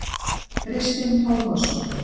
Kristinn Tómasson.